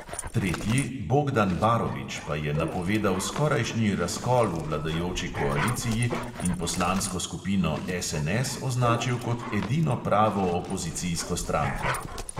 Tretji, bogdan barovič, pa je napovedal skorajšnji razkol v vladajoči koaliciji in poslansko skupino SNS označil kot edino pravo opozicijsko stranko!